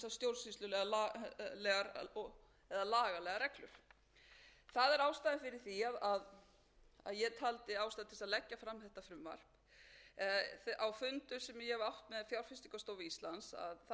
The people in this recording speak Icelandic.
stjórnsýslulegar lagalegar reglur það er ástæða fyrir því að ég taldi ástæðu til þess að leggja fram þetta frumvarp á fundum sem ég hef átt með fjárfestingarstofu íslands kom fram að það væri mjög oft spurst fyrir um þegar fyrirtæki væru